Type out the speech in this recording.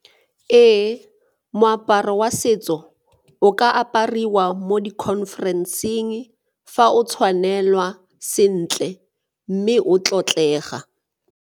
Ee, moaparo wa setso o ka apariwa mo di-conference-eng fa o tshwanelwa sentle mme o tlotlega.